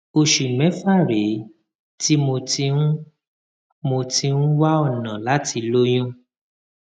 oṣù mẹfà rèé tí mo ti ń mo ti ń wá ọnà láti lóyún